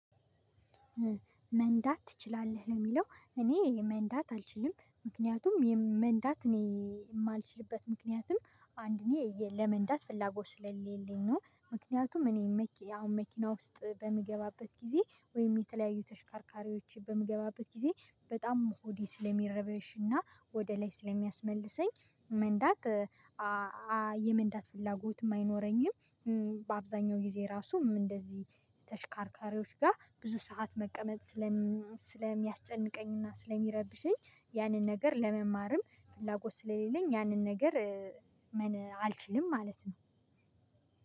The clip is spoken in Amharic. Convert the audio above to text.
መንዳት ትችላለህ ለሚለው እኔ መንዳት አልችልም ምክንያቱም መንዳት እኔ የማልችልበት ምክንያትም አንድ እኔ ለመንዳት ፍላጎት ስለሌለኝ ነው። ምክንያቱም እኔ አሁን መኪና ውስጥ በምገባበት ጊዜ ወይም የተለያዩ ተሽካርካሪዎች በምገባበት ጊዜ በጣም ሆዴ ስለሚረበሽና ወደ ላይ ስለሚያስመልሰኝ መንዳት የመንዳት ፍላጎትም አይኖረኝም። በአብዛኛው ጊዜ ራሱም እንደዚህ ተሽካርካሪዎች ጋር ብዙ ሰዓት መቀመጥ። ስለሚያስጨንቀኝና ስለሚረብሸኝ ያንን ነገር ለመማርም ፍላጎት ስለሌለኝ ያንን ነገር ምን አልችልም ማለት ነው።